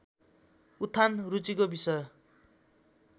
उत्थान रुचिको विषय